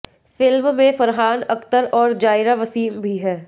film में फरहान अख्तर और जायरा वसीम भी हैं